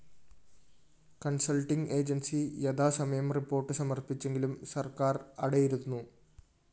consulting agency യഥാസമയം report സമര്‍പ്പിച്ചെങ്കിലും സര്‍ക്കാര്‍ അടയിരുന്നു